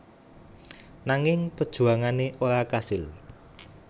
Nanging perjuangane ora kasil